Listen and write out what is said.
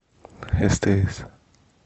стс